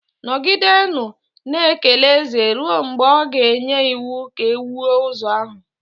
Nọgidenụ na-ekele eze ruo mgbe ọ ga-enye iwu ka e wuo ụzọ ahụ.